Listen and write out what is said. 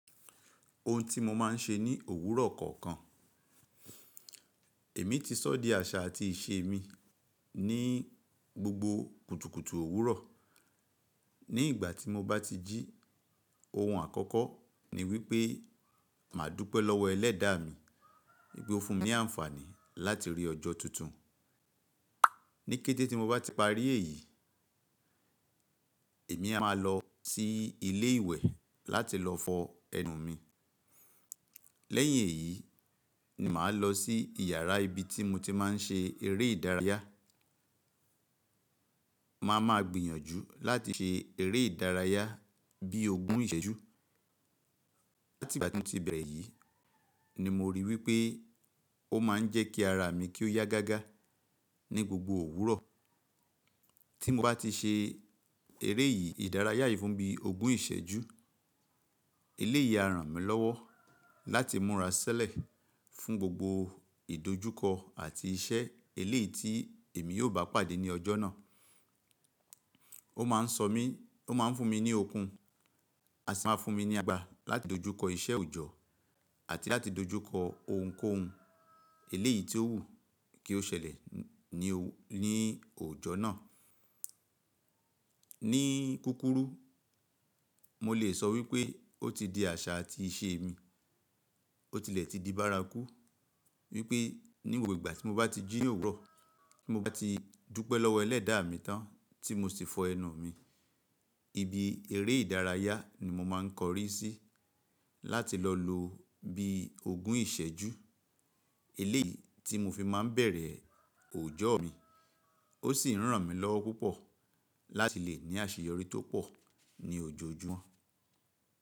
Ohun tí mo máa ń ṣe ní òwúrọ̀ kọ̀ọ̀kan. Èmi ti sọ́ di àṣà àti ìṣe mi ní gbogbo kùtùkùtù òwúrọ̀. Ni ìgbà tí mo bá ti jí ohun àkọ́kọ́ ní wípé máa dúpẹ́ lọ́wọ́ ẹlẹ́dàá mi. Pe ó fún mi ní àǹfààní láti rí ọjọ́ tuntun. Níkẹ́tẹ́ tí mo bá ti parí èyí, èmi a máa lọ sí ilé ìwẹ̀ láti lọ fọ ẹnu mi. Lẹ́yìn èyí ni màá lọ sí iyàrá ibi tí mo ti máa ń ṣe eré ìdárayá. Má a máa gbìyànjú láti ṣe eré ìdárayá bíi ogún ìṣẹ́jú. Láti ìgbà tí mo ti bẹ̀rẹ̀ yìí ni mo ríi wípé ó máa ń jẹ́ kí ara mi kí ó yá gágá ní gbogbo òwúrọ̀. Tí mo bá ti ṣe eré yìí ìdárayá yìí fún bí ogún ìṣẹ́jú, eléyìí á ràn mí lọ́wọ́ láti múra ṣilẹ̀ fún gbogbo ìdojúkọ àti iṣẹ́ eléyìí tí èmi yóò bá pàdé ní ọjọ́ náà. Ó máa ń sọ̀ mí, ó máa ń fún mi ní okun, aṣi máa ń fún mi ní agbara láti dojúkọ iṣẹ́ òjọ̀ àti láti dojúkọ ohunkóhun eléyìí tí ó wù kí ó ṣẹlẹ̀ ní òjò náà. Ní kúkúrú, mo lè sọ wípé ó ti di àṣà àti ìṣe mi. Ó tilẹ̀ ti di bárakú wípé ní gbogbo ìgbà tí mo bá ti jí òwúrọ̀, tí mo bá ti dúpẹ́ lọ́wọ́ ẹlẹ́dàá mi tán tí mo sì fọ ẹnu mi, ibi eré ìdárayá ni mo máa ń kọrí sí láti lọ lò bí ogún ìṣẹ́jú. Eléyìí tí mo fi máa ń bẹ̀rẹ̀ òjò mi ó sì ń ràn mí lọ́wọ́ púpọ̀ láti lè ní àṣeyọrí tó pọ̀ ní òjojúmọ́.